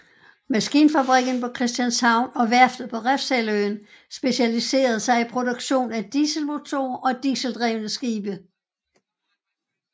Maskinfabrikken på Christianshavn og værftet på Refshaleøen specialiserede sig i produktion af dieselmotorer og dieseldrevne skibe